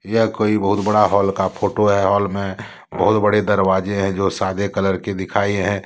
यह कोई बहुत बड़ा हॉल का फोटो है हाल में बहुत बड़े दरवाजे हैं जो सादे कलर के दिखाए हैं।